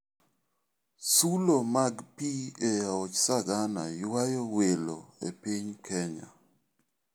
Sulo mag pi e aoch Sagana ywayo welo e piny Kenya.